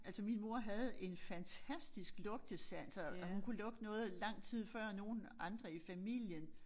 Altså min mor havde en fantastisk lugtesans og og hun kunne lugte noget lang tid før nogen andre i familien